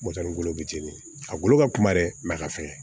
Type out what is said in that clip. Mɔtɛri golo bɛ ten a golo ka kuma dɛ a ka fɛgɛn